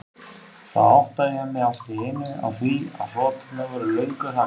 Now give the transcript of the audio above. Þá áttaði ég mig allt í einu á því að hroturnar voru löngu þagnaðar.